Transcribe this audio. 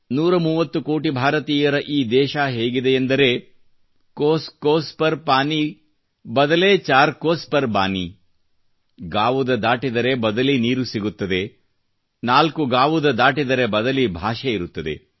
130 ಕೋಟಿ ಭಾರತಿಯರ ಈ ದೇಶಹೇಗಿದೆಯೆಂದರೆ ಕೋಸ್ ಕೋಸ್ ಪರ್ ಪಾನಿ ಬದಲೆ ಚಾರ ಕೋಸ್ ಪರ್ ಬಾನಿ ಗಾವುದ ದಾಟಿದರೆ ಬದಲಿ ನೀರು ಸಿಗುತ್ತದೆ ನಾಲ್ಕು ಗಾವುದ ದಾಟಿದರೆ ಬದಲಿ ಭಾಷೆ ಇರುತ್ತದೆ